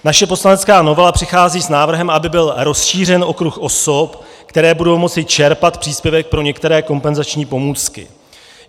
Naše poslanecká novela přichází s návrhem, aby byl rozšířen okruh osob, které budou moci čerpat příspěvek pro některé kompenzační pomůcky.